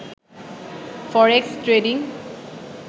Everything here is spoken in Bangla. forex trading